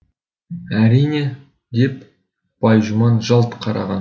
әрине деп байжұман жалт қараған